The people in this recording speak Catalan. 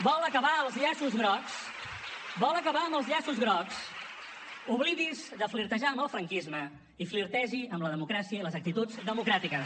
vol acabar els llaços grocs vol acabar amb els llaços grocs oblidi’s de flirtejar amb el franquisme i flirtegi amb la democràcia i les actituds democràtiques